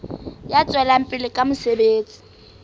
ya tswelang pele ka mosebetsi